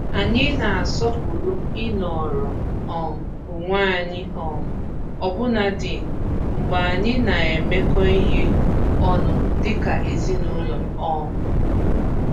Anyị na-asọpụrụ i nọrọ um onwe anyị um ọbụnadị mgbe anyị nọ na-emekọ ihe ọnụ dika ezinụlọ. um